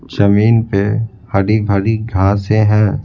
जमीन पे हरी-भरी घासें हैं।